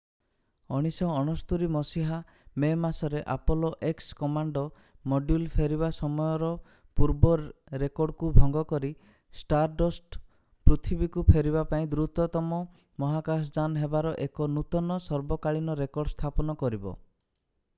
1969 ମସିହା ମେ ମାସରେ ଆପୋଲୋ x କମାଣ୍ଡ ମଡ୍ୟୁଲ୍ ଫେରିବା ସମୟର ପୂର୍ବ ରେକର୍ଡକୁ ଭଙ୍ଗ କରି ଷ୍ଟାରଡଷ୍ଟ ପୃଥିବୀକୁ ଫେରିବା ପାଇଁ ଦ୍ରୁତତମ ମହାକାଶଯାନ ହେବାର ଏକ ନୂତନ ସର୍ବକାଳୀନ ରେକର୍ଡ ସ୍ଥାପନ କରିବ